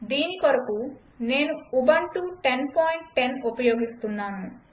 దీని కొరకు నేను ఉబంటు 1010 ఉపయోగిస్తున్నాను